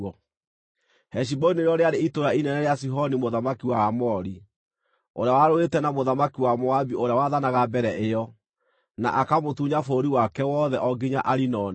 Heshiboni nĩrĩo rĩarĩ itũũra inene rĩa Sihoni mũthamaki wa Aamori, ũrĩa warũĩte na mũthamaki wa Moabi ũrĩa waathanaga mbere ĩyo, na akamũtunya bũrũri wake wothe o nginya Arinoni.